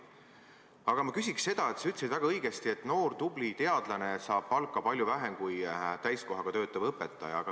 Aga sa ütlesid väga õigesti, et noor tubli teadlane saab palka palju vähem kui täiskohaga töötav õpetaja.